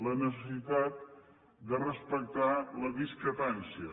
la necessitat de respectar la discrepància